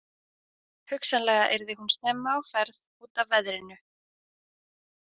Hugsanlega yrði hún snemma á ferð út af veðrinu.